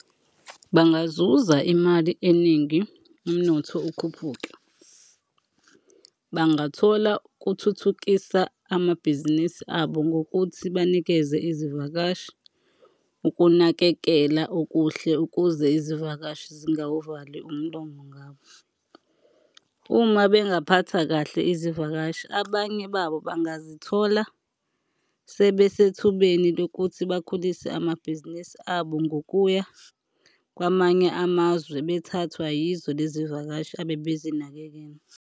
Bangazuza imali eningi, umnotho ukhuphuke. Bangathola kuthuthukisa amabhizinisi abo ngokuthi banikeze izivakashi ukunakekela okuhle ukuze izivakashi zingawuvali umlomo ngabo uma bengaphatha kahle izivakashi. Abanye babo bangazithola sebesethubeni lokuthi bakhulise amabhizinisi abo ngokuya kwamanye amazwe bethathwa yizo lezivakashi abe bezinakekela.